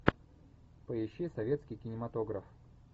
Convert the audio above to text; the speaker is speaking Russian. поищи советский кинематограф